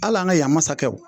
Al'an ka yan masakɛw.